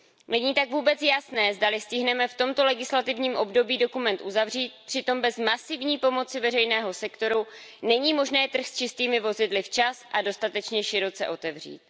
Není tak vůbec jasné, zdali stihneme v tomto legislativním období dokument uzavřít, přitom bez masivní pomoci veřejného sektoru není možné trh s čistými vozidly včas a dostatečně široce otevřít.